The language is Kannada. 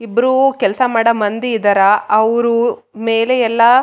ನಾಟ ಒನ್ಲಿ ಇಂಜಿನಿಯರ್ಸ ಇಂಜಿನಿಯರ್ಸ ಜೊತೆಗೆ ವರ್ಕಸ್ಸ ಕೂಡ ಇರಲೇಬೇಕು.